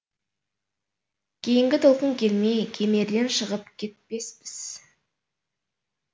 кейінгі толқын келмей кемерден шығып кетпеспіз